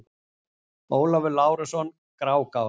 Ólafur Lárusson: Grágás